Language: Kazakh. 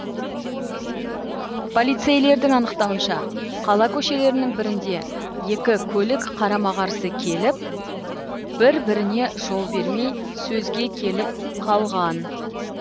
полицейлердің анықтауынша қала көшелерінің бірінде екі көлік қарама қарсы келіп бір біріне жол бермей сөзге келіп қалған